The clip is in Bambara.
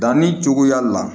Danni cogoya la